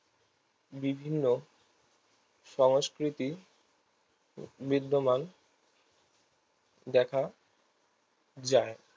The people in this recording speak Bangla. বিভিন্ন সংস্কৃতি বিদ্যমান দেখা যায়